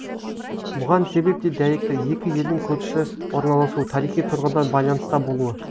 бұған себеп те дәйекті екі елдің көрші орналасуы тарихи тұрғыдан байланыста болуы